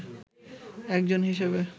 একজন হিসেবে